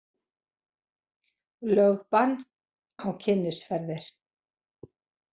Lögbann á Kynnisferðir